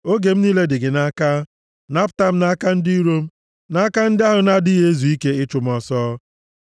Oge m niile dị gị nʼaka. Napụta m nʼaka ndị iro m na nʼaka ndị ahụ na-adịghị ezu ike ịchụ m ọsọ.